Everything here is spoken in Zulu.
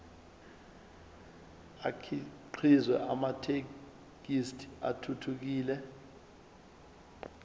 akhiqize amathekisthi athuthukile